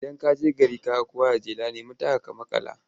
Idan ka je gari ka ga kowa da jela, nemi taka ka maƙala.